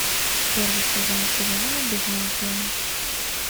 первый сезон сериала безмозглые